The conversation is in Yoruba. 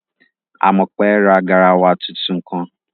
Àmọ̀pé ra garawa tuntun kan